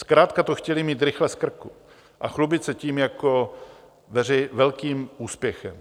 Zkrátka to chtěli mít rychle z krku a chlubit se tím jako velkým úspěchem.